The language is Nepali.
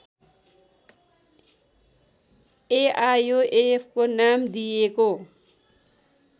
एआयोएफको नाम दिइएको